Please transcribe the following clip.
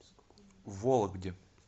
вологде